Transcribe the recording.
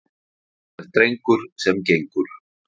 Sá er drengur sem gengur.